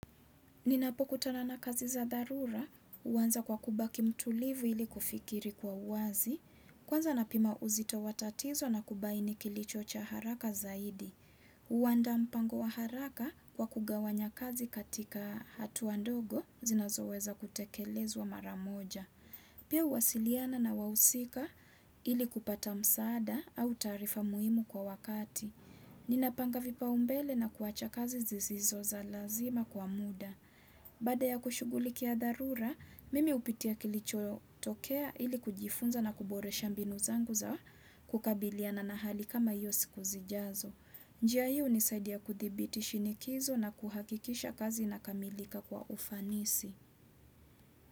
Ninapokutana na kazi za dharura, huanza kwa kubaki mtulivu ili kufikiri kwa uwazi, kwanza napima uzito wa tatizo na kubaini kilicho cha haraka zaidi. Huandaa mpango wa haraka kwa kugawanya kazi katika hatu ndogo, zinazoweza kutekelezwa mara moja. Pia huwasiliana na wahusika ili kupata msaada au tarifa muhimu kwa wakati. Ninapanga vipao mbele na kuacha kazi zisizo za lazima kwa muda. Baada ya kushughulikia dharura, mimi hupitia kilichotokea ili kujifunza na kuboresha mbinu zangu za kukabiliana na hali kama hiyo siku zijazo. Njia hii hunisaidia kuthibiti shinikizo na kuhakikisha kazi inakamilika kwa ufanisi.